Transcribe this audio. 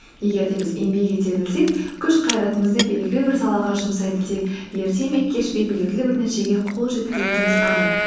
егер де біз еңбек ете білсек күш қайратымызды белгілі бір салаға жұмсай білсек ерте ме кеш пе белгілі бір нәтижеге қол жеткізетініміз анық